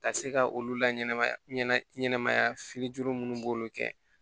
Ka se ka olu laɲɛna ɲɛnamaya fili minnu b'olu kɛ